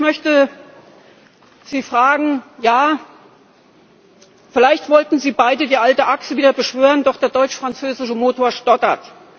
Ich möchte Sie fragen Ja, vielleicht wollten Sie beide die alte Achse wieder beschwören, doch der deutsch französische Motor stottert.